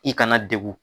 I kana degun